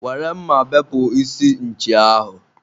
were mma bepụ isi nchi ahụ!